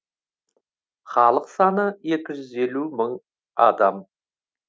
халық саны екі жүз елу мың адам